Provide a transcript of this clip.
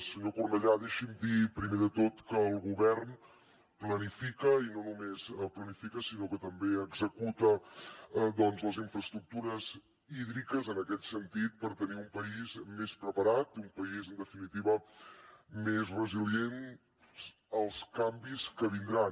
senyor cornellà deixi’m dir primer de tot que el govern planifica i no només planifica sinó que també executa les infraestructures hídriques en aquest sentit per tenir un país més preparat un país en definitiva més resilient als canvis que vindran